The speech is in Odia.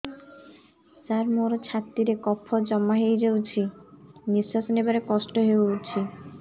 ସାର ମୋର ଛାତି ରେ କଫ ଜମା ହେଇଯାଇଛି ନିଶ୍ୱାସ ନେବାରେ କଷ୍ଟ ହଉଛି